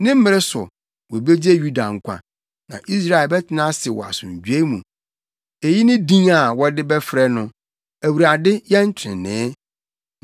Ne mmere so, wobegye Yuda nkwa na Israel bɛtena ase wɔ asomdwoe mu. Eyi ne din a wɔde bɛfrɛ no: Awurade Yɛn Trenee.